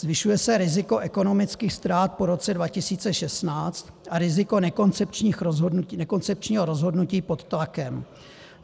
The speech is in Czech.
Zvyšuje se riziko ekonomických ztrát po roce 2016 a riziko nekoncepčního rozhodnutí pod tlakem.